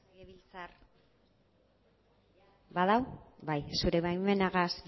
zure baimenarekin